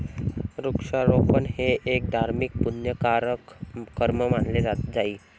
वृक्षारोपण हे एक धार्मिक पुण्यकारक कर्म मानले जाई.